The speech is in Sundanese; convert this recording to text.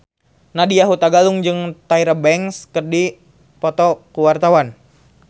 Nadya Hutagalung jeung Tyra Banks keur dipoto ku wartawan